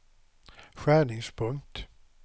skärningspunkt